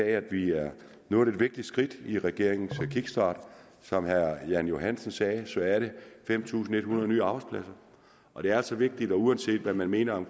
at vi er nået et vigtigt skridt i regeringens kickststart som herre jan johansen sagde sagde er det fem tusind en hundrede nye arbejdspladser og det er altså vigtigt uanset hvad man mener